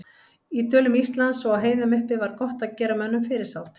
Í dölum Íslands og á heiðum uppi var gott að gera mönnum fyrirsát.